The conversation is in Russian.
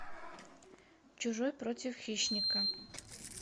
чужой против хищника